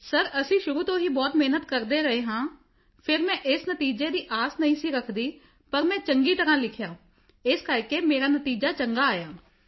sir ਅਸੀਂ ਸ਼ੁਰੂ ਤੋਂ ਹੀ ਬਹੁਤ ਮਿਹਨਤ ਕਰ ਰਹੇ ਹਾਂ ਫਿਰ ਮੈਂ ਇਸ ਨਤੀਜੇ ਦੀ ਆਸ ਨਹੀਂ ਸੀ ਰੱਖਦੀ ਪਰ ਮੈਂ ਚੰਗੀ ਤਰ੍ਹਾਂ ਲਿਖਿਆ ਇਸ ਕਰਕੇ ਮੇਰਾ ਨਤੀਜਾ ਚੰਗਾ ਆਇਆ